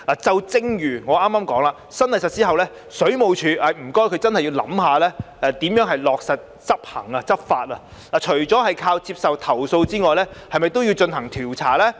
正如我剛才提到，在新例實施後，請水務署真的要想想如何落實執法，除了接受投訴外，是否亦應進行調查？